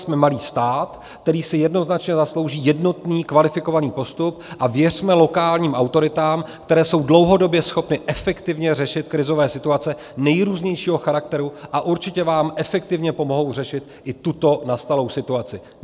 Jsme malý stát, který si jednoznačně zaslouží jednotný kvalifikovaný postup, a věřme lokálním autoritám, které jsou dlouhodobě schopny efektivně řešit krizové situace nejrůznějšího charakteru a určitě vám efektivně pomohou řešit i tuto nastalou situaci.